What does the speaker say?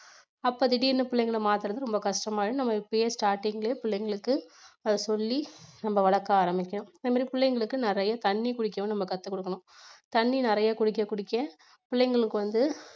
அப்ப திடீர்ன்னு பிள்ளைங்க மாத்தறது ரொம்ப கஷ்டமானது நம்ம இப்பயே starting லே பிள்ளைங்களுக்கு சொல்லி நம்ம வளர்க்க ஆரம்பிக்கணும். அதே மாதிரி பிள்ளைங்களுக்கு நிறைய தண்ணி குடிக்கவும் நம்ம கத்துக்கொடுக்கணும் தண்ணி நிறைய குடிக்க குடிக்க பிள்ளைங்களுக்கு வந்து